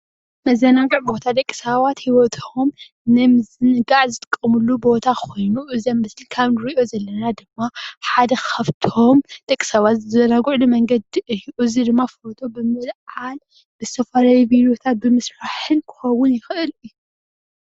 መዘናጊዒ ቦታ፡- ደቂሰባት ሂወቶም ንምዝንጋዕ ዝጥቀምሉ ቦታ ኮይኑ እዚ ኣብ ምስሊ ካብ እንሪኦ ዘለና ድማ ሓደ ካብቶም ደቂ ሰባት ዝዛናግዕሉ መንገዲ እዩ፡፡ እዚ ድማ ፎቶ ብምልዓል ዝተፈላለዩ ቢሮታት ብምስራሕን ክከውን ይክእል እዩ፡፡